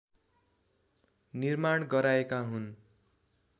निर्माण गराएका हुन्